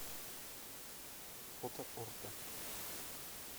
фото орто